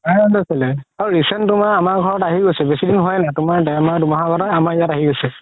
আৰু recent তুমাাৰ আমাৰ ঘৰত আহি গৈছে বেচি দিন হুৱাই নাই তুমাৰ দেৰ মাহ দুহ মাহ আগতে আমাৰ ইয়াত আহি গৈছে